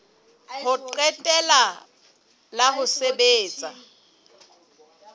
ho qetela la ho sebetsa